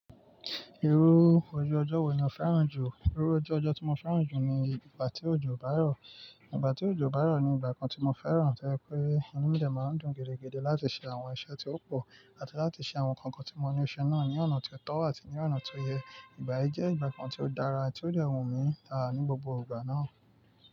Irú ojú ọjọ́ wò ni ò fẹ́ràn jù? Irú ojú ọjọ́ tí mo fẹ́ràn jù ni ìgbà tí òjò bá rọ̀. Ìgbà tí òjò bá rọ̀ ni ìgbà kan tí mo fẹ́ràn tẹ́ẹ́ pé, inú ilé máa ń dùn gidigidi láti ṣe àwọn iṣẹ́ tí ó pò, àti láti ṣe àwọn nǹkan tí mo ní ó ṣe náà ní ọ̀nà tó tọ́ àti ní ọ̀nà tó yẹ. Ìgbà yìí jẹ́ ìgbà kan tí ó dára ti ó dẹ̀ wúmí dáadáa ní gbogbo ìgbà náà.